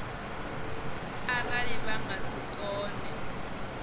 arali vha nga si kone